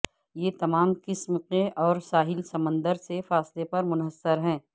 یہ تمام قسم کے اور ساحل سمندر سے فاصلہ پر منحصر ہے